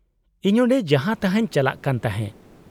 -ᱤᱧ ᱚᱸᱰᱮ ᱡᱟᱦᱟᱸ ᱛᱟᱦᱟᱸᱧ ᱪᱟᱞᱟᱜ ᱠᱟᱱ ᱛᱟᱦᱮᱸ ᱾